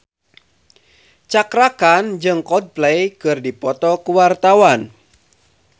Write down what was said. Cakra Khan jeung Coldplay keur dipoto ku wartawan